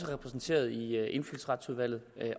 repræsenteret i indfødsretsudvalget